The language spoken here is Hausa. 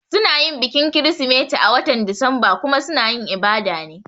Suna yin bikin kirisimeti a watan Disamba kuma suna yin ibada ne